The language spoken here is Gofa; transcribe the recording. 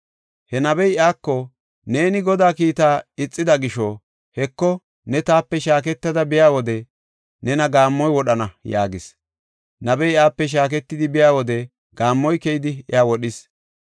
He nabey iyako, “Neeni Godaa kiitaa ixida gisho, Heko, ne taape shaaketada biya wode nena gaammoy wodhana” yaagis. Nabey iyape shaaketidi biya wode gaammoy keyidi iya wodhis.